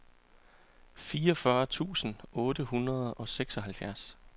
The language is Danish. fireogfyrre tusind otte hundrede og seksoghalvfjerds